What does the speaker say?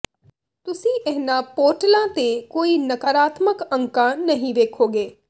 ਤੁਸੀਂ ਇਹਨਾਂ ਪੋਰਟਲਾਂ ਤੇ ਕੋਈ ਨਕਾਰਾਤਮਕ ਅੰਕਾਂ ਨਹੀਂ ਵੇਖੋਗੇ